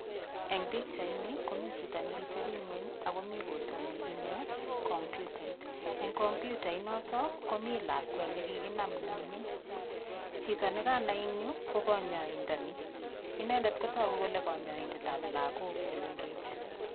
Eng' pikchaini komi chito nekiteping'weny akomi kotoni ine komputait eng' komputait noto komi lakwet nekikinam nemining' chito nekanai eng' yu ko kanyoindani inendet kotoku kole kanyaidetab lakok chemengech